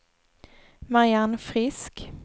Marianne Frisk